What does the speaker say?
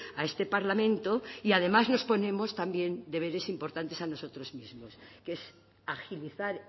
a este parlamento y además nos ponemos también deberes importantes a nosotros mismos que es agilizar